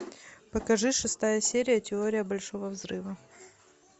покажи шестая серия теория большого взрыва